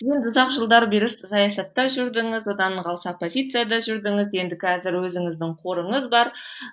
ұзақ жылдар бері сіз саясатта жүрдіңіз одан қалса оппозицияда жүрдіңіз енді қазір өзіңіздің қорыңыз бар